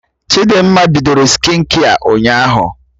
Chidimma bidoro skịnkia ụnyaahụ